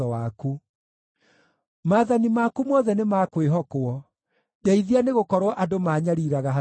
Maathani maku mothe nĩ ma kwĩhokwo; ndeithia, nĩgũkorwo andũ maanyariiraga hatarĩ gĩtũmi.